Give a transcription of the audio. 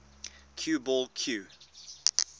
cue ball cue